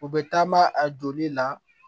U bɛ taama a joli la